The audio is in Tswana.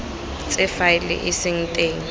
tse faele e seng teng